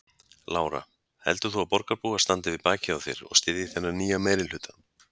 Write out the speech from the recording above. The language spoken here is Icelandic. Lára: Heldur þú að borgarbúar standi við bakið á þér og styðji þennan nýja meirihluta?